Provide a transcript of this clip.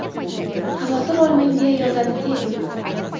Xavotir olmang”, deya yozadi Terim.